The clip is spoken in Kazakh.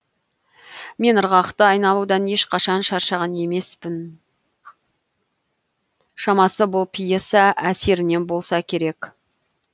мен ырғақты айналудан ешқашан шаршаған емеспін шамасы бұл пьеса әсерінен болса керек